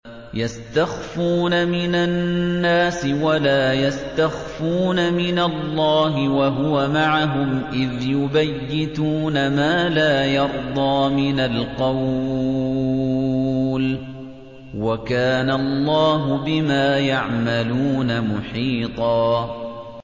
يَسْتَخْفُونَ مِنَ النَّاسِ وَلَا يَسْتَخْفُونَ مِنَ اللَّهِ وَهُوَ مَعَهُمْ إِذْ يُبَيِّتُونَ مَا لَا يَرْضَىٰ مِنَ الْقَوْلِ ۚ وَكَانَ اللَّهُ بِمَا يَعْمَلُونَ مُحِيطًا